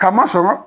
Ka masɔrɔ